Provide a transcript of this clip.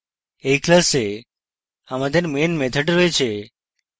এই class আমাদের main method রয়েছে